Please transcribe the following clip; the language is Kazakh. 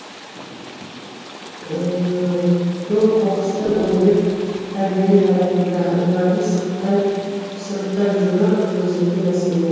көң қоқысты өңдеп кәдеге жаратуда оларды сұрыптап жинау өзекті мәселе